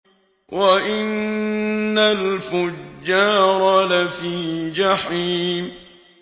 وَإِنَّ الْفُجَّارَ لَفِي جَحِيمٍ